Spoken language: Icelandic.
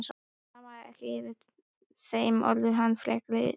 Hún amaðist ekki við þeim orðum hans frekar en öðrum.